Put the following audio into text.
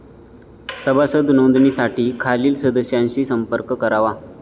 सभासद नोंदणीसाठी खालील सदस्यांशी संपर्क करावा.